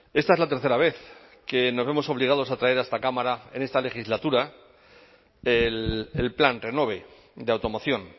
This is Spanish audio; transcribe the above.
esta es la tercera vez que nos vemos obligados a traer a esta cámara en esta legislatura el plan renove de automoción